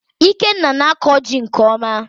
Ikenna na-akọ jị nke ọma